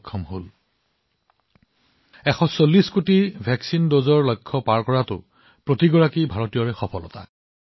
ভেকছিনৰ ১৪০ কোটি পালি অতিক্ৰম কৰাটো প্ৰতিজন ভাৰতীয়ৰ কৃতিত্ব